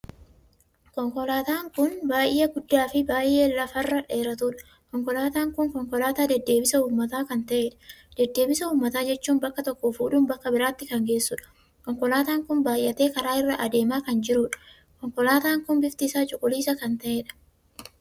Konkolaataa kun konkolaataa baay'ee guddaa fi baay'ee lafa irra dheeratuudha. konkolaataa n kun konkolaataa deddeebisa uummataa kan taheedha. deddeebisa uummataa jechuun bakka tokkoo fuudhuun bakka biraatti kan geessudha. konkolaataan kun baay'ate karaa irra adeemaa kan jirudha. konkolaataan kun bifti isaa cuquliisa kan tahedham.